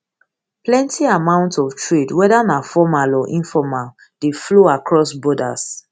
plenti amount of trade weda na formal or informal dey flow across borders